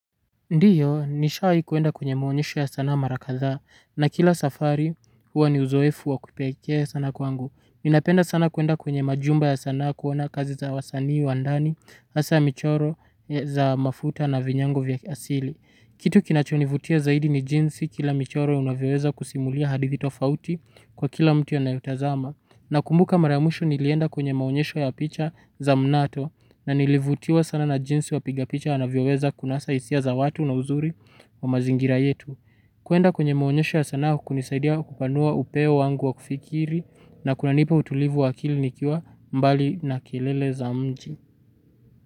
Ndiyo, nishawai kuenda kwenye muonyesho ya sanaa mara kathaa, na kila safari huwa ni uzoefu wa kipekee sana kwangu. Ninapenda sana kuenda kwenye majumba ya sanaa kuona kazi za wasanii wandani, hasa michoro za mafuta na vinyango vya asili. Kitu kinachonivutia zaidi ni jinsi kila michoro unavyoweza kusimulia hadithi tofauti kwa kila mtu anayeutazama. Na kumbuka mara ya mwisho nilienda kwenye maonyesho ya picha za mnato na nilivutiwa sana na jinsi wapiga picha anavyoweza kunasa hisia za watu na uzuri wa mazingira yetu. Kwenda kwenye maonyesho ya sanaa hunisaidia kupanua upeo wangu wa kufikiri na kuna nipa utulivu wakili nikiwa mbali na kelele za mji.